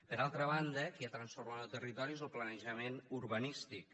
per altra banda qui ha transformat el territori és lo planejament urbanístic